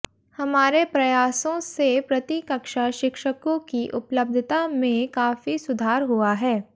हमारे प्रयासों से प्रति कक्षा शिक्षकों की उपलब्धता में काफी सुधार हुआ है